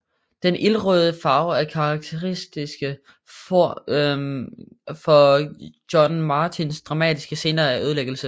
Den ildrøde farve er karakteristisk for John Martins dramatiske scener af ødelæggelse